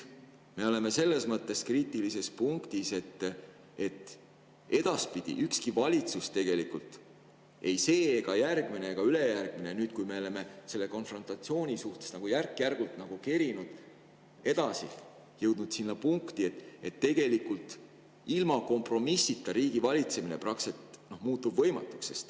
Me oleme selles mõttes kriitilises punktis, et edaspidi muutub kõigil valitsustel, nii sellel, järgmisel kui ka ülejärgmisel – me oleme selle konfrontatsiooni suhtes järk-järgult nagu edasi kerinud ja jõudnud sinna punkti –, ilma kompromissita riigivalitsemine praktiliselt võimatuks.